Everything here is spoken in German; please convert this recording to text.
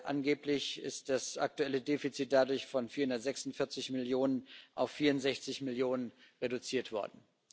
Angeblich ist das aktuelle Defizit dadurch von 446 Millionen auf 64 Millionen reduziert worden.